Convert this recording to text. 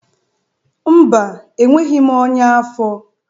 Mba, enweghị m ọnya afọ